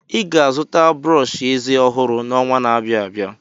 Ị ga-azụta brọsh eze ọhụrụ n'ọnwa na-abịa.